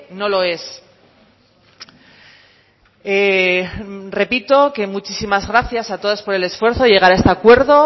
no lo es repito que muchísimas gracias a todas por el esfuerzo llegar a este acuerdo